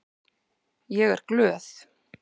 Ég er glöð.